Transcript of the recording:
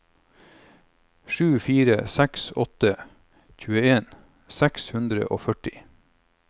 sju fire seks åtte tjueen seks hundre og førti